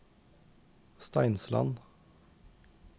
Steinsland